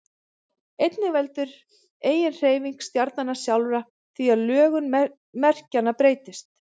einnig veldur eiginhreyfing stjarnanna sjálfra því að lögun merkjanna breytist